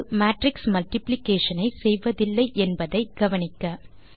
இது matrix multiplication ஐ செய்வதில்லை என்பதை கவனிக்க